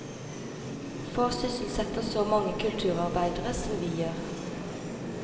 Få sysselsetter så mange kulturarbeidere som vi gjør.